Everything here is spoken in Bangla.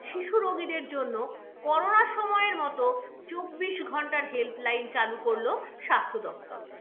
শিশু রোগীদের জন্য করোনা সময়ের মতো চব্বিশ ঘন্টার helpline চালু করল স্বাস্থ্য দপ্তর।